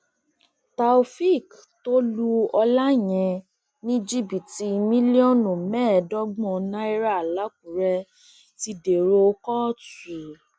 taofik tó lu ọlàyẹn ní jìbìtì mílíọnù mẹẹẹdọgbọn náírà làkúrẹ ti dèrò kóòtù